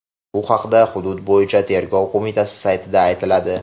Bu haqda hudud bo‘yicha tergov qo‘mitasi saytida aytiladi .